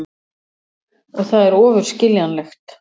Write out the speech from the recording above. Og það er ofur skiljanlegt.